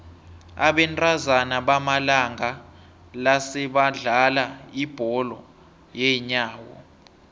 abentazana bamalanga la sebadlala ibholo yeenyawo